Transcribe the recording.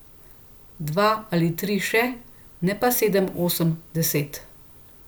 Dva ali tri še, ne pa sedem, osem, deset...